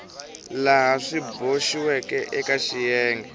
laha swi boxiweke eka xiyenge